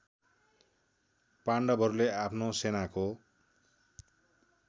पाण्डवहरूले आफ्नो सेनाको